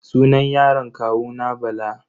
Sunan yaron kawuna Bala.